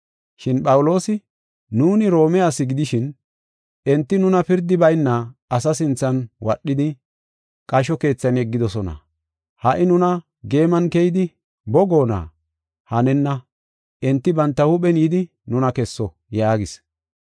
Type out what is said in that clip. Shin Phawuloosi, “Nuuni Roome asi gidishin enti nuna pirdi bayna asaa sinthan wadhidi, qasho keethan yeggidosona. Ha77i nuna geeman keyidi boo goonna? Hanenna, enti banta huuphen yidi nuna kesso” yaagis.